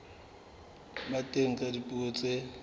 ba teng ka dipuo tse